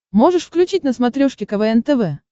можешь включить на смотрешке квн тв